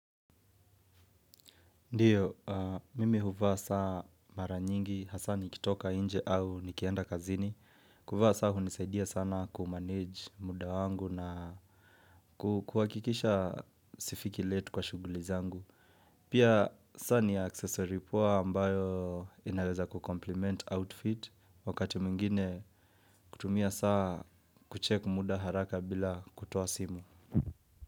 Ndiyo, mimi huvaa saa mara nyingi, hasaa nikitoka nje au nikienda kazini. Kuvaa saa hunisaidia sana kumanage muda wangu na kuhakikisha sifiki late kwa shughuli zangu. Pia saa ni accessory poa ambayo inaweza kucompliment outfit. Wakati mwingine kutumia saa kucheck muda haraka bila kutoa simu.